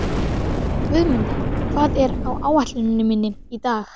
Guðmunda, hvað er á áætluninni minni í dag?